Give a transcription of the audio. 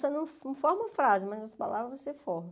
Só não não forma frase, mas as palavras você forma.